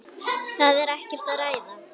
Það er ekkert að ræða.